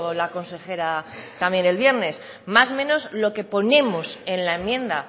la consejera también el viernes más o menos lo que ponemos en la enmienda